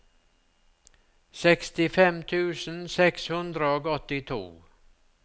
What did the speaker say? sekstifem tusen seks hundre og åttito